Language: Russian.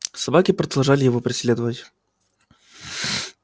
собаки продолжали его преследовать